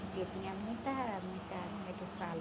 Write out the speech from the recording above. Porque tinha muita, muita, como é que fala?